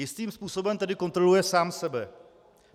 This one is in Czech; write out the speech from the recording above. Jistým způsobem tedy kontroluje sám sebe.